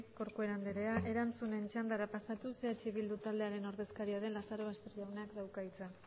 corcuera andrea erantzunen txandara pasatuz eh bildu taldearen ordezkaria den lazarobaster jaunak dauka hitza